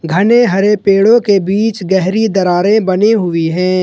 घने हरे पेड़ों के बीच गहरी दरारें बनी हुई है।